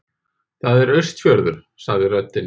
Það er Austurfjörður, sagði röddin.